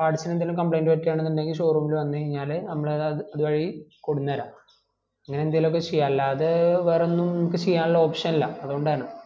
parts ന് എന്തേലും complaint പറ്റുവാ എന്നുണ്ടെങ്കിൽ showroom ൽ വന്ന് കയ്‌ഞാല് നമ്മള് അത് അത് വഴി കൊടുനര അങ്ങന എന്തെലും ഒക്കെ ചെയ്യാ അല്ലാതെ വേറെ ഒന്നും നമുക്ക് ചെയ്യാൻ ഉള്ള option ഇല്ല അതോണ്ട് ആണ്